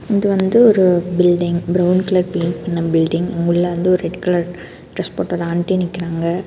இது வந்து ஒரு பில்டிங் பிரவுன் கலர் பெயிண்ட் பண்ண பில்டிங் உள்ள வந்து ரெட் கலர் டிரஸ் போட்டது ஆண்ட்டி நிக்கிறாங்க.